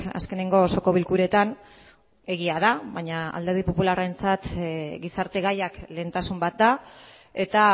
azkeneko osoko bilkuretan egia da baina alderdi popularrentzat gizarte gaiak lehentasun bat da eta